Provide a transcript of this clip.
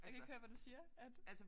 Jeg kan ikke høre hvad du siger at